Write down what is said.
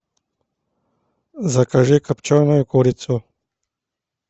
закажи копченую курицу